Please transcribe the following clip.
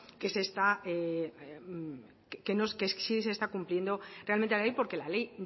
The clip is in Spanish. que sí se está cumpliendo realmente la ley porque la ley